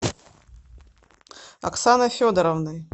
оксаной федоровной